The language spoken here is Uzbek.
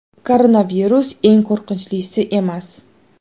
Koronavirus eng qo‘rqinchlisi emas.